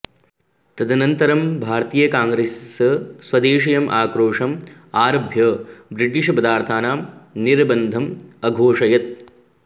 ततदन्तरं भारतीयकाङ्ग्रेस् स्वदेशीयम् आक्रोशं आरभ्य ब्रिटिष् पदार्थानां निर्बन्धम् अघोषयत्